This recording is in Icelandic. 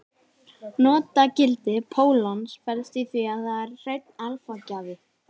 Notagildi pólons felst í því að það er hreinn alfa-gjafi.